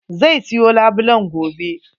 Zai siyo labulen gobe.